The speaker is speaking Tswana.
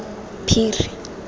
phiri